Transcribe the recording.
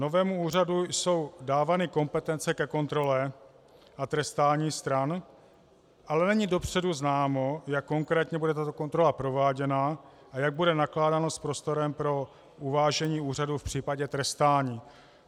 Novému úřadu jsou dávány kompetence ke kontrole a trestání stran, ale není dopředu známo, jak konkrétně bude tato kontrola prováděna a jak bude nakládáno s prostorem pro uvážení úřadu v případě trestání.